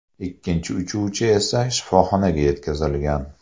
Ikkinchi uchuvchi esa shifoxonaga yetkazilgan.